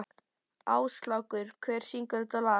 Áslákur, hver syngur þetta lag?